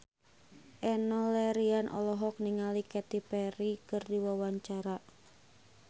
Enno Lerian olohok ningali Katy Perry keur diwawancara